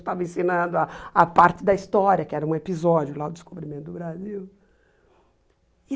Estava ensinando a a parte da história, que era um episódio lá do Descobrimento do Brasil.